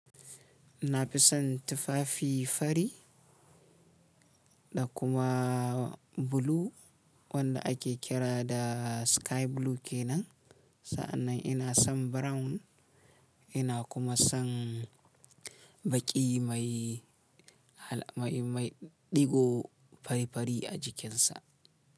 Na fi son tufafi fari da kuma bulu wanda ake kira da sky blue kenan. Sa'annan ina son brown, ina kuma son baki mai, mai, mai ɗigo fari-fari a jikinsa.